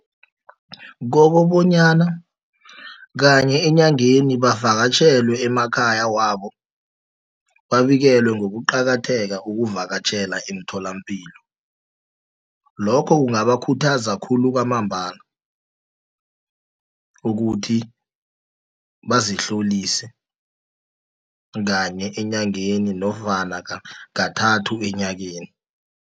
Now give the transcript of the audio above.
Kokobonyana kanye enyangeni, bavakatjhelwe emakhaya wabo, babikelwe ngokuqakatheka kokuvakatjhela emtholampilo. Lokhu kungabakhuthaza khulu kwamambala, ukuthi bazihlolise kanye enyangeni, nofana kathathu enyakeni.